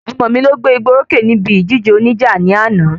Ọmọ mi lọ gbé ìgbà orókè níbi ìjíde oníjà ní àná